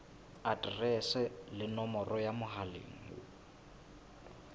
aterese le nomoro ya mohala